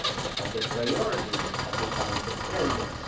of the priorities of the Council Presidency.